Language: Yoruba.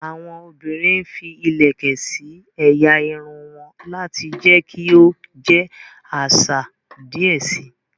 Awọn obìrin fí ilẹkẹ sí ẹ̀yà Irun won lati jẹ kí o jẹ àṣà díẹ síi